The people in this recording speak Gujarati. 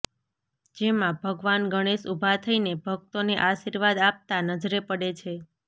જેમાં ભગવાન ગણેશ ઊભા થઈને ભક્તોને આશિર્વાદ આપતા નજરે પડે છે